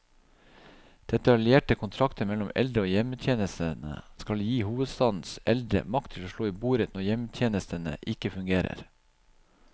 Detaljerte kontrakter mellom eldre og hjemmetjenestene skal gi hovedstadens eldre makt til å slå i bordet når hjemmetjenestene ikke fungerer.